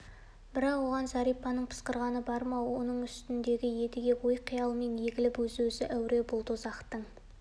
бірақ оған зәрипаның пысқырғаны бар ма оның үстіндегі едіге ой қиялмен егіліп өзімен-өзі әуре бұл дозақтың